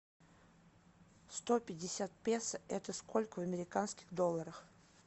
сто пятьдесят песо это сколько в американских долларах